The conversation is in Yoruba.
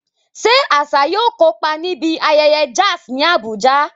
Ṣé Asa yóò kópa níbi ayẹyẹ jazz ní Abuja?